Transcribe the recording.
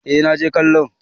eh na je kallo